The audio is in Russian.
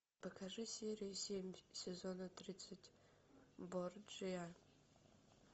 покажи серию семь сезона тридцать борджиа